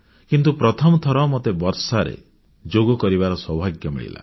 କିନ୍ତୁ ପ୍ରଥମଥର ମୋତେ ବର୍ଷାରେ ଯୋଗ କରିବାର ସୌଭାଗ୍ୟ ମିଳିଲା